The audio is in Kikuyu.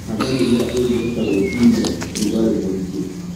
Handa mimera ĩngihota gwĩtiria rugarĩ mũingĩ.